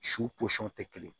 Su pɔsɔn tɛ kelen